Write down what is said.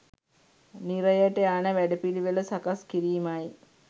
නිරයට යන වැඩපිළිවෙළ සකස් කිරීමයි.